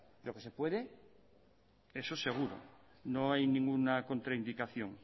pero que se puede eso seguro no hay ninguna contraindicación